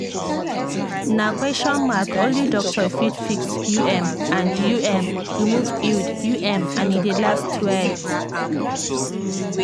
na question mark only doctor fit fix u m and u m remove iud u m and e dey last well.